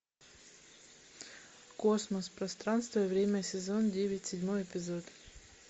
космос пространство и время сезон девять седьмой эпизод